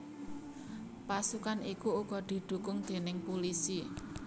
Pasukan iku uga didhukung déning pulisi